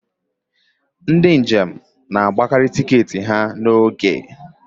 ndị njem na-ebukarị tiketi ha n'isi